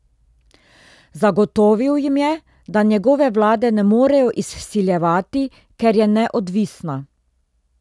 Zagotovil jim je, da njegove vlade ne morejo izsiljevati, ker je neodvisna.